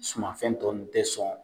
Sumafɛn tɔ ninnu tɛ sɔn